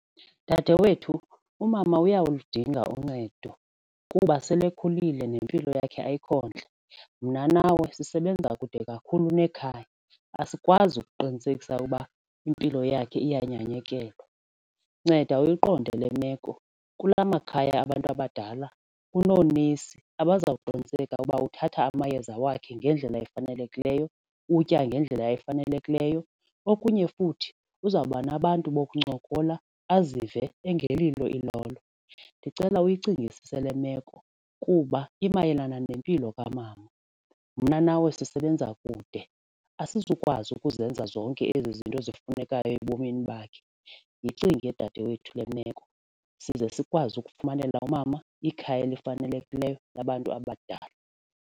Dadewethu, umama uyaludinga uncedo kuba sele ekhulile nempilo yakhe ayikho ntle. Mna nawe sisebenza kude kakhulu nekhaya asikwazi ukuqinisekisa ukuba impilo yakhe iyanyekelwa, nceda uyiqonde le meko kula makhaya abantu abadala kunoonesi abazawuqiniseka ukuba uthatha amayeza wakhe ngendlela efanelekileyo, utya ngendlela efanelekileyo okunye futhi uzawuba nabantu bokuncokola azive engelilo ilolo. Ndicela uyicingisise le meko kuba imayelana nempilo kamama. Mna nawe sisebenza kude asizukwazi ukuzenza zonke ezi zinto zifunekayo ebomini bakhe, yicinge dadewethu le meko size sikwazi ukufumanela umama ikhaya elifanelekileyo labantu abadala.